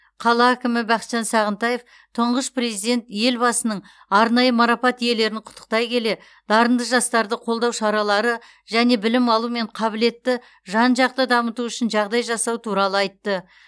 қала әкімі бақытжан сағынтаев тұңғыш президент елбасының арнайы марапат иелерін құттықтай келе дарынды жастарды қолдау шаралары және білім алу мен қабілетті жан жақты дамыту үшін жағдай жасау туралы айтты